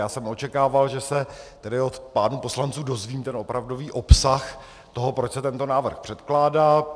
Já jsem očekával, že se tady od pánů poslanců dozvím ten opravdový obsah toho, proč se tento návrh předkládá.